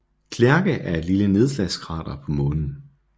Clerke er et lille nedslagskrater på Månen